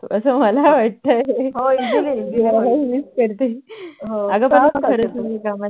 असं मला वाटतंय हो